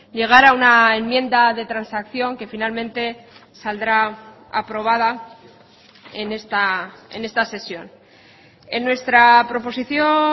llegar a una enmienda de transacción que finalmente saldrá aprobada en esta sesión en nuestra proposición